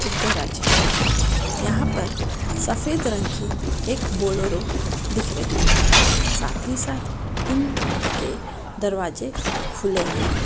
एक है यहाँ पर सफेद रंग की एक बोलोरो दिख रही है साथ ही साथ इनके दरवाजे खुले हैं।